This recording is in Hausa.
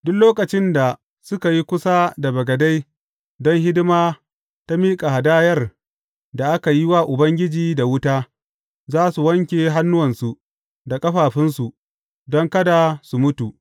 Duk lokacin da suka yi kusa da bagade don hidima ta miƙa hadayar da aka yi wa Ubangiji da wuta, za su wanke hannuwansu da ƙafafunsu, don kada su mutu.